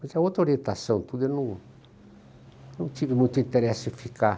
Mas é outra orientação e tudo, eu não não tive muito interesse em ficar.